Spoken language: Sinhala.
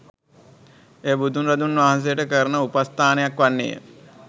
එය බුදු රදුන් වහන්සේට කරන උපස්ථානයක් වන්නේය.